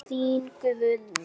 Þín Guðný.